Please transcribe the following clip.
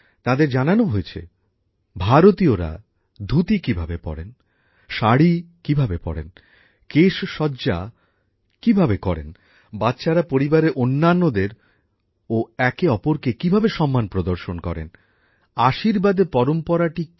তাদের জানানো হয়েছে ভারতীয়রা ধুতি কিভাবে পরেন শাড়ি কিভাবে পরেন কেশসজ্জা কিভাবে করেন বাচ্চারা পরিবারের অন্যান্যদের ও একে অপরকে কিভাবে সম্মান প্রদর্শন করেন আশীর্বাদের পরম্পরাটি কি